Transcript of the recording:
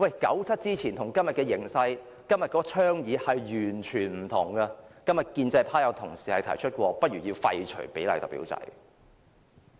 九七之前與今天的形勢相比，今天的倡議完全不同，今天建制派有同事曾提出過不如廢除比例代表制。